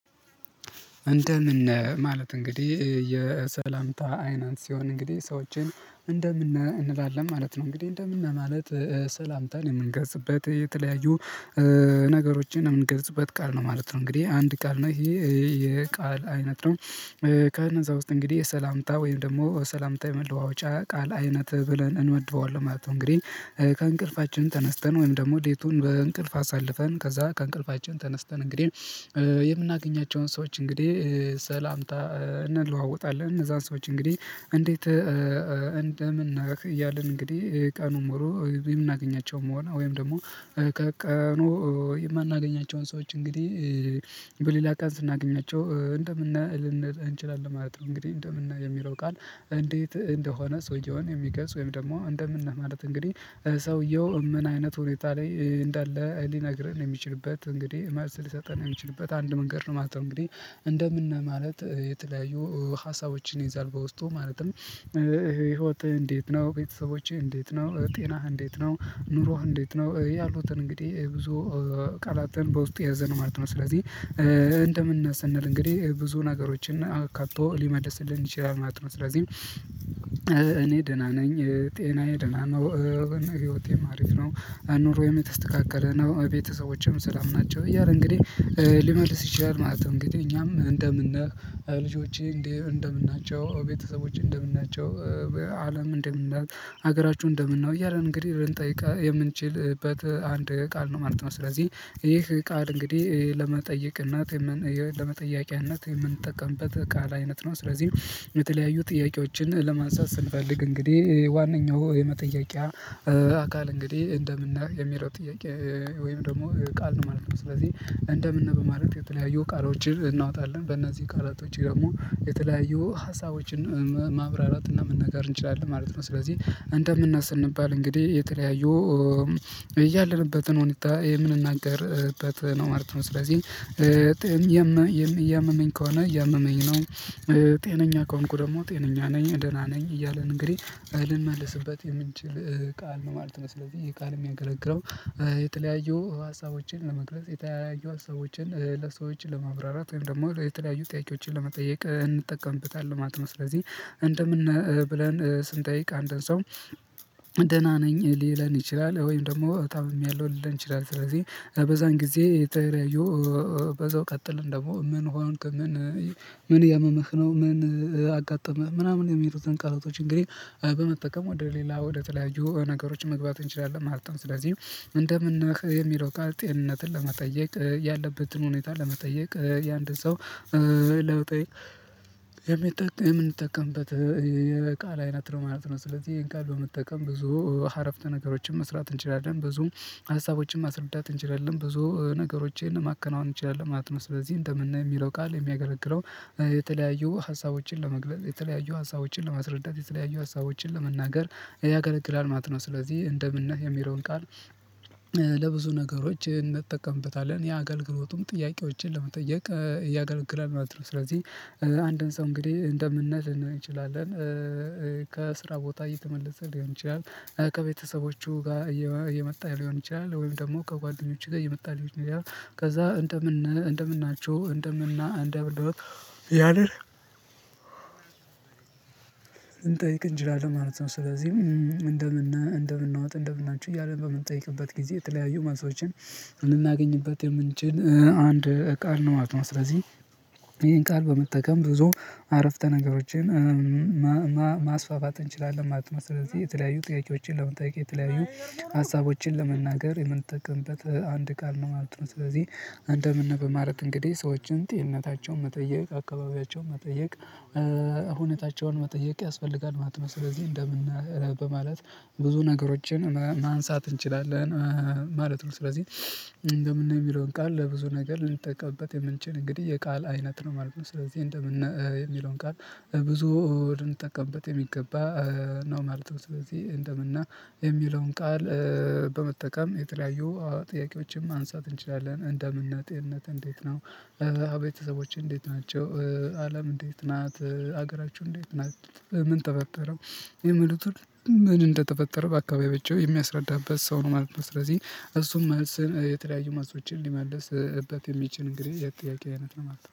እንደምን ነህ ማለት እንግዲህ የሰላምታ አይነት ሲሆን እንግዲህ ሰዎችን እንደምን ነህ እንላለን ማለት ነው። እንግዲህ እንደምን ማለት ሰላምታን የምንገልጽበት የተለያዩ ነገሮችን የምንገልጽበት ቃል ነው ማለት ነው። እንግዲህ አንድ ቃል ነው ይሄ የቃል አይነት ነው። ከነዛ ውስጥ እንግዲህ ሰላምታ ወይም ደግሞ ሰላምታ የመለዋወጫ ቃል አይነት ብለን እንመድበዋለን ማለት ነው። እንግዲህ። ከእንቅልፋችን ተነስተን ወይም ደግሞ ሌቱን በእንቅልፍ አሳልፈን ከዛ ከእንቅልፋችን ተነስተን እንግዲህ የምናገኛቸውን ሰዎች እንግዲህ ሰላምታ። እንለዋወጣለን እነዛን ሰዎች እንግዲህ እንዴት እንደምን ነህ እያልን እንግዲህ ቀኑ ሙሉ የምናገኛቸውም ሆነ ወይም ደግሞ ከቀኑ የማናገኛቸውን ሰዎች እንግዲህ በሌላ ቀን ስናገኛቸው እንደምን ነህ ልንል እንችላለን ማለት ነው። እንግዲህ እንደምን ነህየሚለው እንዴት እንደሆነ ሰውየውን የሚገልጽ ወይም ደግሞ እንደምን ነህ ማለት እንግዲህ ሰውየው እምን አይነት ሁኔታ ላይ እንዳለ ሊነግረን የሚችልበት እንግዲህ መሰል ሊሰጠን የሚችልበት አንድ መንገድ ነው። የማስተውለው እንግዲህ እንደምን ማለት የተለያዩ ሀሳቦችን ይዛል። በውስጡ ማለትም ህይወትህ እንዴት ነው ቤተሰቦቼ እንዴት ነው ጤናህ እንዴት ነው ኑሮህ እንዴት ነው ያሉትን እንግዲህ ብዙ ቃላትን በውስጡ የያዘነ ማለት ነው። ስለዚህ እንደምን ነህ ስንል እንግዲህ ብዙ ነገሮችን አካቶ ሊመልስልን ይችላል ማለት ነው። ስለዚህ እኔ ደህና ነኝ ጤናዬ ደህና ነው ህይወቴም አሪፍ ነው ንሮየም የተስተካከለ ነው ቤተሰቦችም ሰላም ናቸው እያለ እንግዲህ ሊመልስ ይችላል ማለት ነው። እንግዲህ እኛም እንደምን ነህ ልጆችህ እንደምን ናቸው ቤተሰቦችህ እንደምን ናቸው አለም እንደምን ናት አገራቹ እንደምን ነው እያልን እንግዲህ ልንጠይቅ የምንችልበት አንድ ቃል ነው ማለት ነው። ስለዚህ ይህ ቃል እንግዲህ ለመጠየቅ እናት ለመጠያቂያነት የምንጠቀምበት ቃል አይነት ነው። ስለዚህ የተለያዩ ጥያቄዎችን ለማንሳት ስንፈልግ እንግዲህ ዋነኛው የመጠያቂያ አካል እንግዲህ እንደምን ነህ የሚለው ጥያቄ ወይም ደግሞ ቃል ነው ማለት ነው። ስለዚህ እንደምን ነህ በማለት የተለያዩ ቃሎችን እናወጣለን በእነዚህ ቃላቶች ደግሞ የተለያዩ ሀሳቦችን ማብራራት እና መነጋገር እንችላለን ማለት ነው። ስለዚህ እንደም ነህ ስንባል እንግዲህ የተለያዩ ያለንበትን ሁኔታ የምንናገርበት ነው ማለት ነው። ስለዚህ እያመመኝ ከሆነ የመመኝ ነው። ጤነኛ ከሆንኩ ደግሞ ጤነኛ ነኝ ደህና ነኝ እያልን እንግዲህ ልንመልስበት የምንችል ቃል ነው ማለት ነው። ስለዚህ ይሄ ቃል የሚያገለግለው የተለያዩ ሀሳቦችን ለመግለጽ የተለያየ ሀሳቦችን ለሰዎች ለማብራራት ወይም ደግሞ የተለያየ ጥያቄዎችን ለመጠየቅ እንጠቀምበታለን ማለት ስለዚህ እንደምን ነህ ብለን ስንጠይቅ አንድን ሰው ደህና ነኝ ሊለን ይችላል። ወይም ደግሞ ታምሜያለው ሊለን ይችላል። ስለዚህ በዛን ጊዜ የተለያዩ በዛው ቀጥልን ደግሞ ምን ሆንክ ምን ምን እያመመህ ነው ምን አጋጠመህ ምናምን የሚለው ቃሎቶች እንግዲህ በመጠቀም ወደ ሌላ ወደ ተለያዩ ነገሮች መግባት እንችላለን ማለት ነው። ስለዚህ እንደምን የሚለው ቃል ጤንነትን ለመጠየቅ ያለበትን ሁኔታ ለመጠየቅ የአንድ ሰው ለውጤ የምንጠቀምበት የቃል አይነት ነው ማለት ነው። ስለዚህ ይሄን ቃል በመጠቀም ብዙ አረፍተ ነገሮችን መስራት እንችላለን ብዙ ሀሳቦችን ማስረዳት እንችላለን ብዙ ነገሮቼን ማከናወን እንችላለን ማለት ነው። ስለዚህ እንደምን ነህ የሚለው ቃል የሚያገለግለው የተለያዩ ሀሳቦችን ለመግለጽ የተለያዩ ሀሳቦችን ለማስረዳት የተለያዩ ሀሳቦችን ለመናገር ያገለግላል ማለት ነው። ስለዚህ እንደምን ነህ የሚለውን ቃል ለብዙ ነገሮች እንጠቀምበታለን የአገልግሎቱም ጥያቄዎችን ለመጠየቅ ያገለግላል ማለት ነው። ስለዚህ አንድን ሰው እንግዲህ እንደም ነህ ልንል እንችላለን። ከስራ ቦታ እየተመለሰ ሊሆን ይችላል ከቤተሰቦቹ ጋር እየመጣ ሊሆን ይችላል ወይም ደግሞ ከጓደኞቹ ጋር እየመጣ ሊሆን ይችላል ከዛ እንደምን ነህ እንደምን ናቹ እንደምን ነህ እንደምን እያልን ልንጠይቅ እንችላለን ማለት ነው። ስለዚህ እንደምን ነህ እንደምን ዋት እንደምን ናቹ እያለ በምንጠይቅበት ጊዜ የተለያዩ መልሶችን ልናገኝበት የምንችል አንድ ቃል ነው ማለት ነው። ስለዚህ ይሄን ቃል በመጠቀም ብዙ አረፍተ ነገሮችን ማስፋፋት እንችላለን ማለት ነው። ስለዚህ የተለያዩ ጥያቄዎችን ለመጠየቅ የተለያዩ ሀሳቦችን ለመናገር የምንጠቀምበት አንድ ቃል ነው ማለት ነው። ስለዚህ አንደምን ነህ ነው በማለት እንግዲህ ሰዎችን ጤንነታቸውን መጠየቅ አካባቢያቸው መጠየቅ ሁነታቸውን መጠየቅ ያስፈልጋል ማለት ነው። ስለዚህ እንደምን በማለት ብዙ ነገሮችን ማንሳት እንችላለን ማለት ነው። ስለዚህ እንደምን ነህ የሚለውን ቃል ለብዙ ነገር ልንጠቀምበት የምንችል እንግዲህ የቃል አይነት ነው ማለት ነው። ስለዚህ እንደምን ነህ የሚለውን ቃል ብዙ ተጠቀምበት የሚገባ ነው ማለት ነው። ስለዚህ እንደምንነህ የሚለውን ቃል በመጠቀም የተለያዩ ጥያቄዎችም ማንሳት እንችላለን። እንደምን ነህ ጤንነትህ እንዴት ነው? ቤተሰቦችህ እንዴት ናቸው? አለም እንዴት ናት? ሀገራቹ እንዴት ናት? ምን ተፈጠረ? የሚሉቱን ምን እንደተፈጠረ በአካባብያቸው የሚያስረዳበት ሰው ነው ማለት ነው። ስለዚህ እሱም መልስን የተለያዩ መልሶችን ሊመልስበት የሚችል እንግዲህ የጥያቄ አይነት ነው ማለት ነው